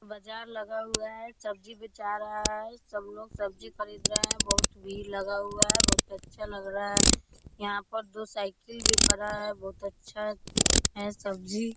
बाजार लगा हुआ है सब्जी भी बेचा रहा है सब लोग सब्जी खरीद रहे हैं बहोत भीड़ लगा हुआ है बहोत अच्छा लग रहा है यहां पर जो साइकिल भी खड़ा है बहोत अच्छा है सब्जी--